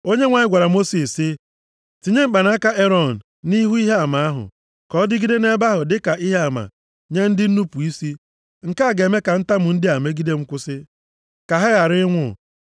Onyenwe anyị gwara Mosis sị, “Tinye mkpanaka Erọn nʼihu Ihe Ama ahụ, ka ọ dịgide nʼebe ahụ dịka ihe ama nye ndị nnupu isi. Nke a ga-eme ka ntamu ndị a megide m kwụsị, ka ha ghara ịnwụ.”